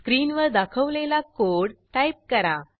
स्क्रीनवर दाखवलेला code type करा